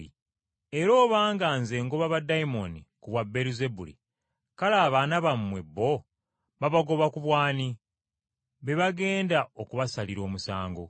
Era obanga Nze ngoba baddayimooni ku bwa Beeruzebuli kale abaana bammwe bo babagoba ku bw’ani? Be bagenda okubasalira omusango.